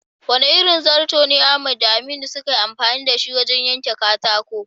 Wane irin zato ne Ahmad da Aminu suka yi amfani da shi wajen yanka katako?